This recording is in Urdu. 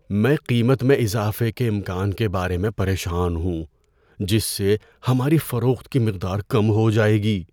میں قیمت میں اضافے کے امکان کے بارے میں پریشان ہوں جس سے ہماری فروخت کی مقدار کم ہو جائے گی۔